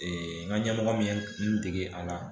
n ka ɲɛmɔgɔ min ye n dege a la